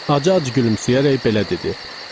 Acı-acı gülümsəyərək belə dedi: